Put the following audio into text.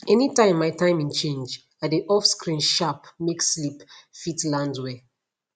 anytime my timing change i dey off screen sharp make sleep fit land well